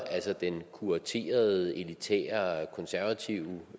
altså den kuraterede elitære og konservative